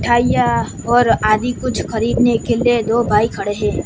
मिठाइयां और आदि कुछ खरीदने के लिए दो भाई खड़े हैं।